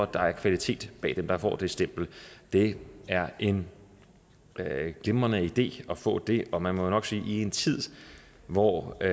der er kvalitet bag det der får det stempel det er en glimrende idé at få det og man må jo nok sige at i en tid hvor der